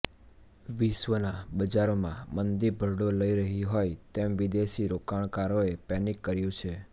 વિશ્વના બજારોમાં મંદી ભરડો લઈ રહી હોય તેમ વિદેશી રોકાણકારોએ પેનિક કર્યું છે